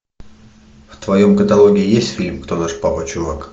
в твоем каталоге есть фильм кто наш папа чувак